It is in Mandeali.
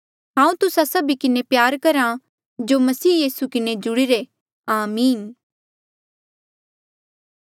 हांऊँ तुस्सा सभी किन्हें प्यार करहा जो मसीह यीसू किन्हें जुड़ीरे आमीन